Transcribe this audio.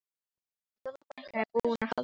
Fjóla frænka er búin að halda þrjár ræður.